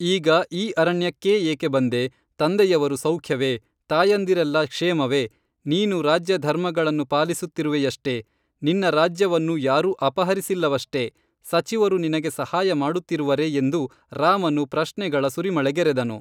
ಈಗ ಈ ಅರಣ್ಯಕ್ಕೇ ಏಕೇಬಂದೆ ತಂದೆಯವರು ಸೌಖ್ಯವೇ, ತಾಯಂದಿರೆಲ್ಲ ಕ್ಷೇಮವೇ, ನೀನು ರಾಜ್ಯಧರ್ಮಗಳನ್ನು ಪಾಲಿಸುತ್ತಿರುವೆಯಷ್ಟೇ ನಿನ್ನ ರಾಜ್ಯವನ್ನು ಯಾರೂ ಅಪಹರಿಸಿಲ್ಲವಷ್ಟೆ ಸಚಿವರು ನಿನಗೇ ಸಹಾಯ ಮಾಡುತ್ತಿರುವರೆ ಎಂದು ರಾಮನು ಪ್ರಶ್ನೆಗಳ ಸುರಿಮಳೆಗರೆದನು